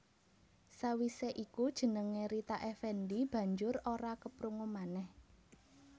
Sawisé iku jenengé Rita Effendy banjur ora keprungu manèh